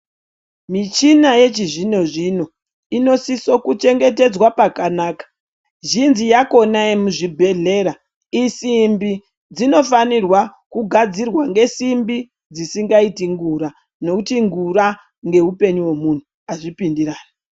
Michina yechizvino-zvino inosiso kuchengetedzwa pakanaka. Zhinji yakhona yemuzvibhedhlera isimbi. Dzinofanirwa kugadzirwa ngesimbi dzisingaiti ngura nekuti ngura ngeupenyu hwemunhu azvipindirani.